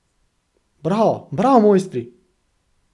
Bravo, bravo, mojstri.